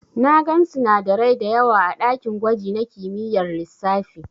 Na gan sinadarai dayawa a dakin gwaji na kimiyyar lissafi.